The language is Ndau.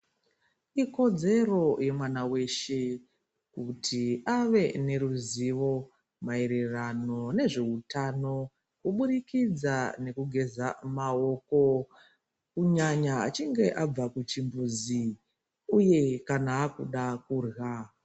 Ikodzero yemwana weshe kuti ave neruzivo maererano nezveutano kuburikidza ngekugeza maoko kunyanya achinge abva kuchumbuzi uye kana akuda kurya.